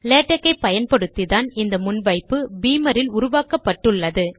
LaTeX ஐ பயன்படுத்தித்தான் இந்த முன் வைப்பு பீமரில் உருவாக்கப்பட்டுள்ளது